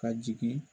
Ka jigin